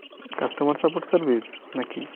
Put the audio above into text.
customer supports service নাকি।